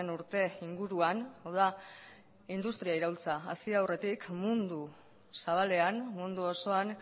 urte inguruan hau da industria iraultza hasi aurretik mundu zabalean mundu osoan